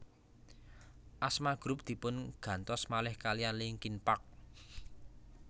Asma grup dipun gantos malih kaliyan Linkin Park